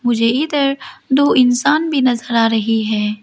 मुझे इधर दो इंसान भी नजर आ रही है।